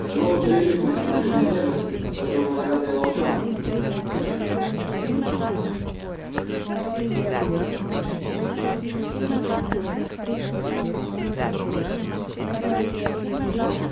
новый прилив материнской нежности послужил наградой волчонку